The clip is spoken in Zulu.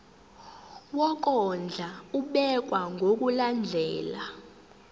wokondla ubekwa ngokulandlela